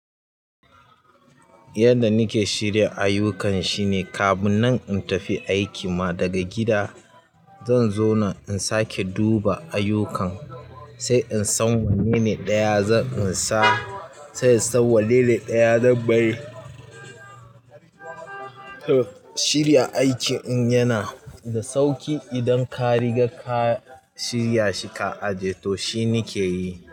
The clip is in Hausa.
Yanda nake shirya ayukan shine kafin nan in tafi aiki ma daga gida, zan zauna in sake duba ayukan sai in san wanne ne ɗaya zan insa- sai in san wanne ne ɗaya zan bari. To shirya aikin yana da sauƙi idan ka riga ka shirya shi ka aje. To shine ke yi.